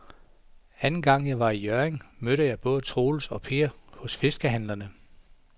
Anden gang jeg var i Hjørring, mødte jeg både Troels og Per hos fiskehandlerne.